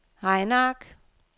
regneark